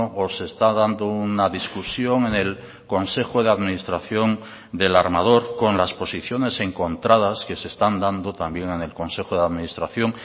o se está dando una discusión en el consejo de administración del armador con las posiciones encontradas que se están dando también en el consejo de administración